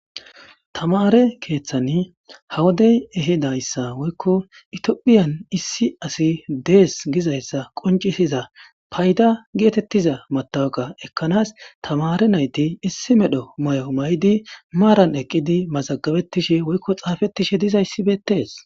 tamare keeththan hawodey ehidayssa woykko itiophiyan issi asi dees gizayssa qoncisiza payda geetettiza matawaka ekkanaas tamare nayti issi medho may7o may7di maaran eqqidi mazagabettishe woykko xaafettishe dizayssibetees